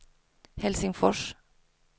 Helsingfors